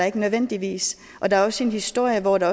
ikke nødvendigvis og der er også en historie hvor der